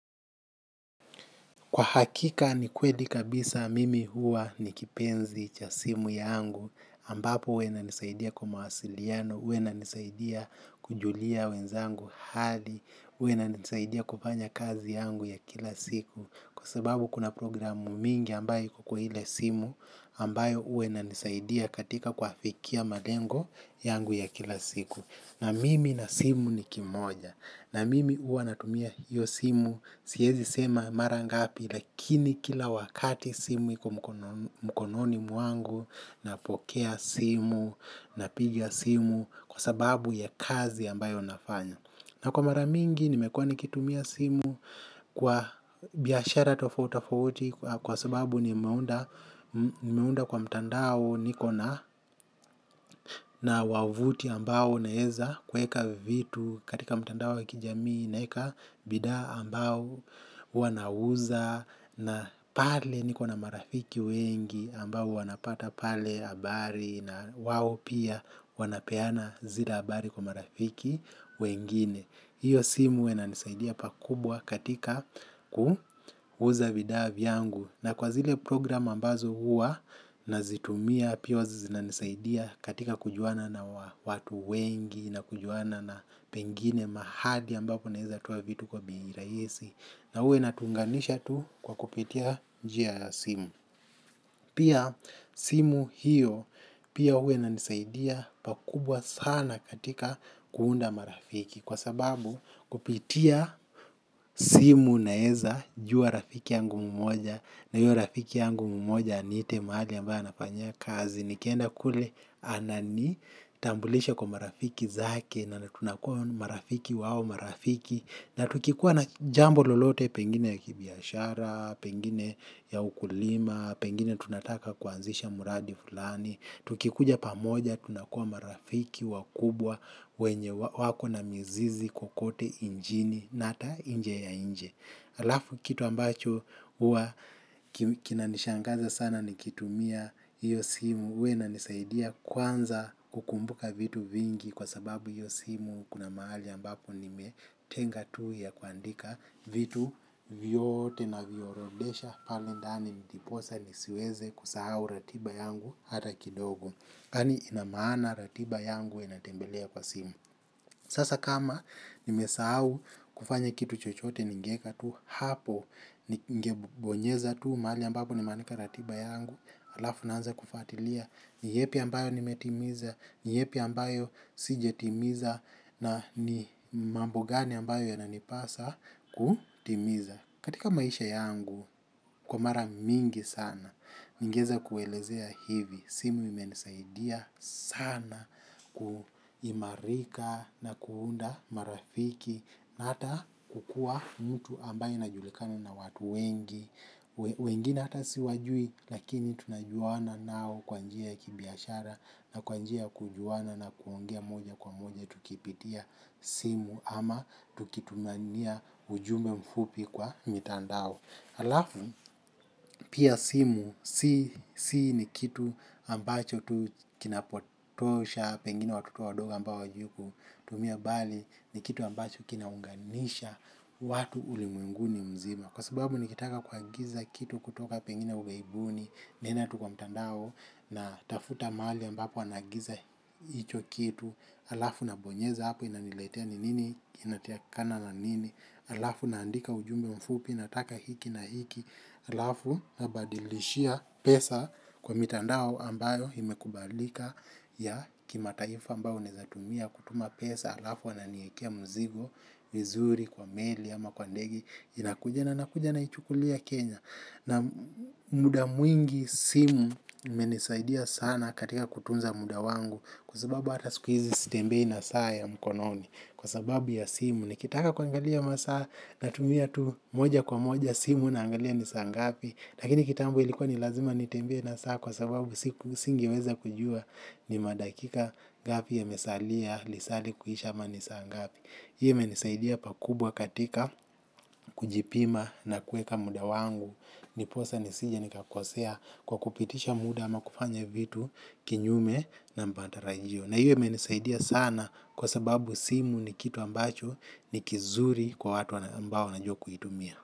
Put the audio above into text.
Kwa hakika ni kweli kabisa mimi huwa ni kipenzi cha simu yangu ambapo huwa inanisaidia kwa mawasiliano, huwa inanisaidia kujulia wenzangu hali, huwa inisaidia kufanya kazi yangu ya kila siku kwa sababu kuna programu mingi ambayo iko kwa ile simu ambayo huwa inanisaidia katika kuafikia malengo yangu ya kila siku. Na mimi na simu ni kimoja. Na mimi huwa natumia hiyo simu siezi sema mara ngapi lakini kila wakati simu iko mkononi mwangu napokea simu napiga simu kwa sababu ya kazi ambayo nafanya. Na kwa mara mingi nimekuwa nikitumia simu kwa biashara tofauti tofauti kwa sababu nimeunda kwa mtandao niko na na wavuti ambao unaeza kuweka vitu katika mtandao wa kijamii naweka bidhaa ambao huwa nauza na pale niko na marafiki wengi ambao wanapata pale habari na wao pia wanapeana zile habari kwa marafiki wengine. Hiyo simu huwa inanisaidia pakubwa katika kuuza bidhaa vyangu na kwa zile programu ambazo huwa nazitumia pia huwa zinanisaidia katika kujuana na watu wengi na kujuana na pengine mahali ambapo naeza toa vitu kwa bei rahisi na huwa inatuunganisha tu kwa kupitia njia ya simu. Pia simu hiyo pia huwa inanisaidia pakubwa sana katika kuunda marafiki kwa sababu kupitia simu naeza jua rafiki yangu mmoja na huyo rafiki yangu mmoja aniite mahali ambayo anafanyia kazi nikienda kule anani tambulisha kwa marafiki zake na tunakuwa marafiki wao marafiki na tukikuwa na jambo lolote pengine ya kibiashara, pengine ya ukulima, pengine tunataka kuanzisha muradi fulani, tukikuja pamoja tunakuwa marafiki wakubwa wenye wako na mizizi kokote nchini na hata nje ya nchi. Halafu kitu ambacho huwa kinanishangaza sana nikitumia hiyo simu huwa inanisaidia kwanza kukumbuka vitu vingi kwa sababu hiyo simu kuna mahali ambapo nime tenga tu ya kuandika vitu vyote naviorodesha pale ndani ndiposa nisiweze kusahau ratiba yangu hata kidogo. Kwani ina maana ratiba yangu inatembelea kwa simu. Sasa kama nimesahau kufanya kitu chochote ningeeka tu hapo ningebonyeza tu mahali ambapo nimeanika ratiba yangu halafu naanza kufuatilia ni yepi ambayo nimetimiza. Ni yepi ambayo sijatimiza. Na ni mambo gani ambayo yananipasa kutimiza. Katika maisha yangu, kwa mara mingi sana, ningeeza kuelezea hivi. Simu imenisaidia sana kuimarika na kuunda marafiki na hata kukuwa mtu ambaye na julikano na watu wengi. Wengine hata siwajui lakini tunajuana nao kwa njia ya kibiashara na kwa njia ya kujuana na kuongea moja kwa moja. Tukipitia simu ama tukitumania ujumbe mfupi kwa mitandao halafu pia simu si ni kitu ambacho tu kinapotosha pengine watoto wadoga ambao hawajui kutumia bali ni kitu ambacho kinaunganisha watu ulimwenguni mzima. Kwa sababu nikitaka kuagiza kitu kutoka pengine ughaibuni, naenda tu kwa mtandao na tafuta mahali ambapo naagiza hicho kitu, halafu nabonyeza hapo inaniletea ni nini, inatakikana na nini, halafu naandika ujumbe mfupi, nataka hiki na hiki, halafu nabadilishia pesa kwa mitandao ambayo imekubalika ya kima taifa ambayo naeza tumia kutuma pesa, halafu wananiekea mzigo, vizuri, kwa meli, ama kwa ndege. Inakuja na nakuja naichukulia kenya nam muda mwingi simu imenisaidia sana katika kutunza muda wangu kwa sababu hata siku hizi sitembei na saa ya mkononi kwa sababu ya simu nikitaka kuangalia masaa na tumia tu moja kwa moja simu naangalia ni saa ngapi lakini kitambo ilikuwa ni lazima nitembee na saa kwa sababu singeweza kujua ni madakika ngapi yamesalia lisali kuisha ama ni saa ngapi hiyo imenisaidia pakubwa katika kujipima na kuweka muda wangu. Ndiposa nisije nikakosea kwa kupitisha muda ama kufanya vitu kinyume na matarajio. Na hiyo imenisaidia sana kwa sababu simu ni kitu ambacho ni kizuri kwa watu ambao wanajua kuitumia.